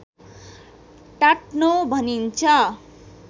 टाट्नो भनिन्छ